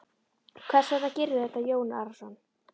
Hvers vegna gerirðu þetta Jón Arason?